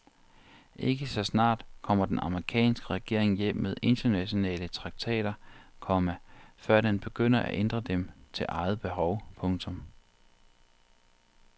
Ikke så snart kommer den amerikanske regering hjem med internationale traktater, komma før den begynder at ændre dem til eget behov. punktum